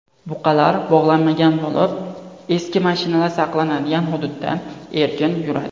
Buqalar bog‘lanmagan bo‘lib, eski mashinalar saqlanadigan hududda erkin yuradi.